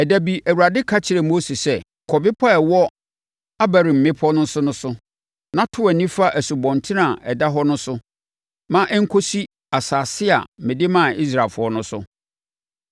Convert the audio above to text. Ɛda bi, Awurade ka kyerɛɛ Mose sɛ, “Kɔ bepɔ a ɛwɔ Abarim mmepɔ no so na to wʼani fa asubɔnten a ɛda hɔ no so ma ɛnkɔsi asase a mede maa Israelfoɔ no so.